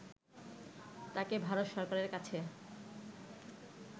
তাকে ভারত সরকারের কাছে